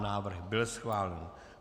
Návrh byl schválen.